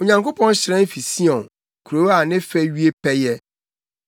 Onyankopɔn hyerɛn fi Sion kurow a ne fɛ wie pɛyɛ.